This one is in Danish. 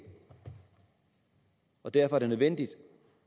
og derfor er det nødvendigt